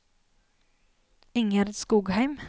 Ingjerd Skogheim